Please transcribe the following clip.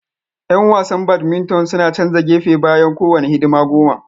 Yan wasan badminton suna canza gefe bayan kowane hidima goma